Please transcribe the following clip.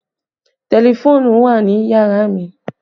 Tẹlifóònùn wà ní yàrá mi